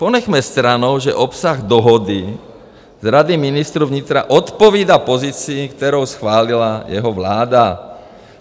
Ponechme stranou, že obsah dohody z Rady ministrů vnitra odpovídá pozici, kterou schválila jeho vláda.